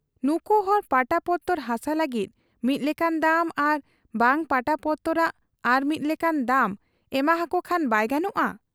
ᱱᱩᱠᱩᱦᱚᱲ ᱯᱟᱴᱟᱯᱚᱛᱚᱨ ᱦᱟᱥᱟ ᱞᱟᱹᱜᱤᱫ ᱢᱤᱫ ᱞᱮᱠᱟᱱ ᱫᱟᱢ ᱟᱨ ᱵᱟᱝ ᱯᱟᱴᱟ ᱯᱚᱛᱚᱨᱟᱜ ᱟᱨ ᱢᱤᱫ ᱞᱮᱠᱟᱱ ᱫᱟᱢ ᱮᱢᱟᱦᱟᱠᱚ ᱠᱷᱟᱱ ᱵᱟᱭ ᱜᱟᱱᱚᱜ ᱟ ?